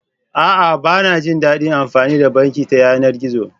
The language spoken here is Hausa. A'a, ba na jin daɗin amfani da banki ta yanar gizo.